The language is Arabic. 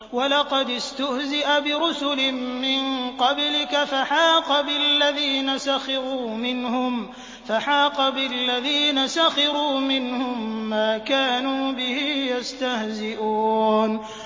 وَلَقَدِ اسْتُهْزِئَ بِرُسُلٍ مِّن قَبْلِكَ فَحَاقَ بِالَّذِينَ سَخِرُوا مِنْهُم مَّا كَانُوا بِهِ يَسْتَهْزِئُونَ